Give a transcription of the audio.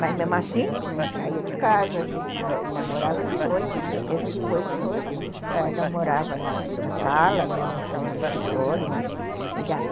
Mas, mesmo assim, não saía de casa, a gente namorava de noite, mesmo depois de noiva, namorava na sala, minha mãe ficava no escritório, mas e daí?